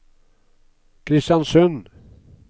Kristiansund